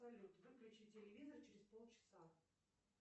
салют выключи телевизор через полчаса